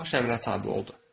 Baş əmrə tabe oldu.